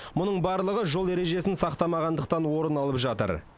мұның барлығы жол ережесін сақтамағандықтан орын алып жатыр